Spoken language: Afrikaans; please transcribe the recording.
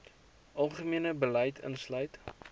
algemene beleid insluit